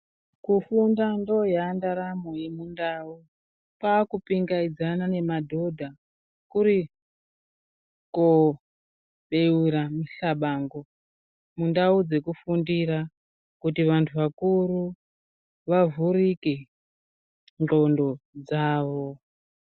Kufunda ndoyaa ndaramo yemundau kwakipingaidzana nemadhodha kuri kobeura muhlabangu mundau dzekufundira kuti vantu vakuru vavhurike ndxondo dzavo.